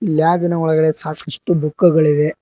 ಲ್ಯಾಬಿನ ಒಳಗಡೆ ಸಾಕಷ್ಟು ಬುಕ್ ಗಳಿವೆ.